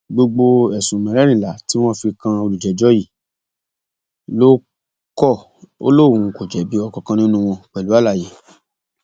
gbogbo ẹsùn mẹrẹẹrìnlá tí wọn fi kan olùjẹjọ yìí ló kọ ọ lóun kò jẹbi ọkánkán nínú wọn pẹlú àlàyé